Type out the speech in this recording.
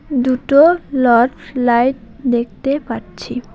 দুটো লট লাইট দেখতে পাচ্ছি।